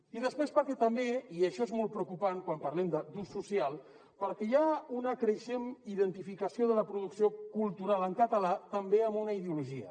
i després perquè també i això és molt preocupant quan parlem d’ús social hi ha una creixent identificació de la producció cultural en català també amb una ideologia